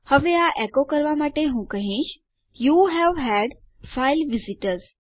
હવે આ એકો કરવા માટે હું કહીશ યુવે હદ ફાઇલ વિઝિટર્સ